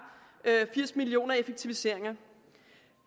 firs million effektiviseringer